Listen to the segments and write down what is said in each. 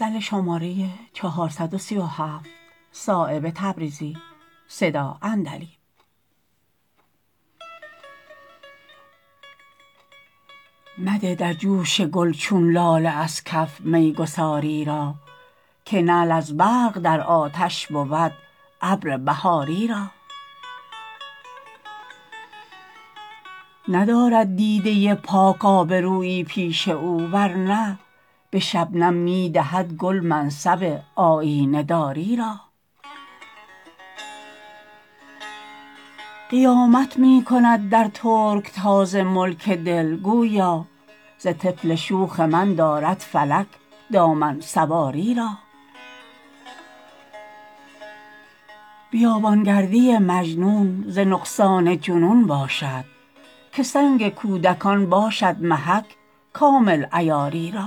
مده در جوش گل چون لاله از کف میگساری را که نعل از برق در آتش بود ابر بهاری را ندارد دیده پاک آبرویی پیش او ورنه به شبنم می دهد گل منصب آیینه داری را قیامت می کند در ترکتاز ملک دل گویا ز طفل شوخ من دارد فلک دامن سواری را بیابان گردی مجنون ز نقصان جنون باشد که سنگ کودکان باشد محک کامل عیاری را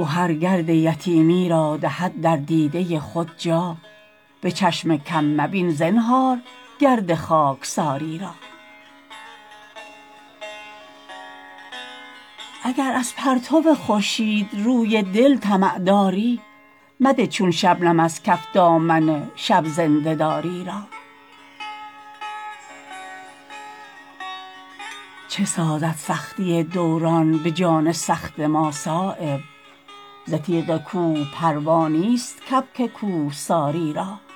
گهر گرد یتیمی را دهد در دیده خود جا به چشم کم مبین زنهار گرد خاکساری را اگر از پرتو خورشید روی دل طمع داری مده چون شبنم از کف دامن شب زنده داری را چه سازد سختی دوران به جان سخت ما صایب ز تیغ کوه پروا نیست کبک کوهساری را